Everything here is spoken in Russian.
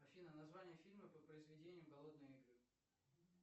афина название фильма по произведению голодные игры